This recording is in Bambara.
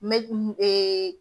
ee